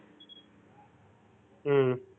ஹம்